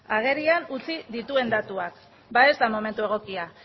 agerian utzi dituen datuak ba ez da momentu egokia